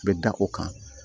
U bɛ da o kan